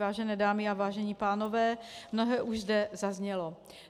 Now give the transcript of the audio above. Vážené dámy a vážení pánové, mnohé už zde zaznělo.